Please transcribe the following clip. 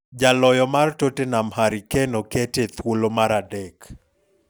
Jaloyo mar Tottenham Harry Kane okete e thuolo mar adek.